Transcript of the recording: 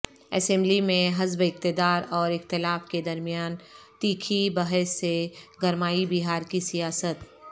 assembly میں حزب اقتدار اور اختلاف کے درمیان تیکھی بحث سے گرمائی بہار کی سیاست